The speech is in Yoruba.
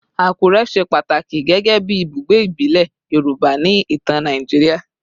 Akure ṣe pataki gẹgẹbi ibugbe ibile Yoruba ni itan Naijiria